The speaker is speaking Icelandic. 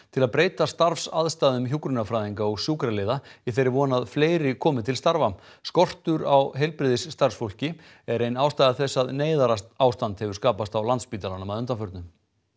til að breyta starfsaðstæðum hjúkrunarfræðinga og sjúkraliða í þeirri von að fleiri komi til starfa skortur á heilbrigðisstarfsfólki er ein ástæða þess að neyðarástand hefur skapast á Landspítalanum að undanförnu